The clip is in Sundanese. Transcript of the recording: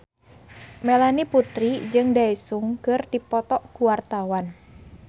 Melanie Putri jeung Daesung keur dipoto ku wartawan